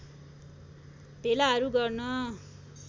भेलाहरू गर्न